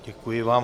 Děkuji vám.